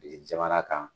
Jamana kan